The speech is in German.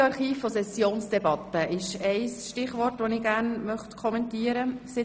Audioarchiv von Sessionsdebatten ist ein Stichwort, das ich gerne kommentieren möchte.